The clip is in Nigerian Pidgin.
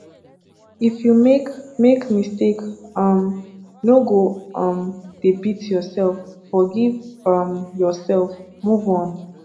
if you make make mistake um no go um dey beat yourself forgive um yourself move on